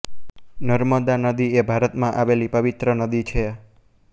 નર્મદા નદી એ ભારતમા આવેલી પવિત્ર નદી છે